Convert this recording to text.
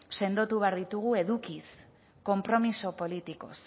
sendotu behar ditugu edukiz konpromiso politikoz